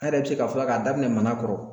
An yɛrɛ bɛ se k'a fɔ yan, k'a daminɛ mana kɔrɔ